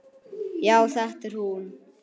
Já, þetta er hún.